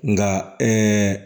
Nka